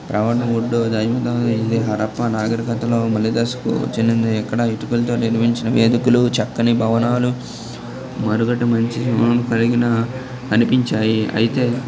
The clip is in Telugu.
రావణ వొడు హరప్పా నాగరికతలో మలిదశకు చెందింది ఇక్కడ ఇటుకలతో నిర్మించి వేదికలు చక్కని భవనాలు మారిగడా మీద నుంచి కలిగిన అనిపించాయి ఐతే --